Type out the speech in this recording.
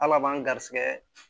Ala b'an garisɛgɛ